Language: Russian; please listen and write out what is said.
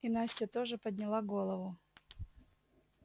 и настя тоже подняла голову